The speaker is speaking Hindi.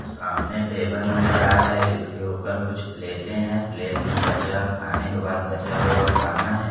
सामने टेबल नज़र आ रहा हैं जिसके ऊपर कुछ प्लेटें हैं प्लेट में बचा खाने के बाद बचा हुआ खाना हैं।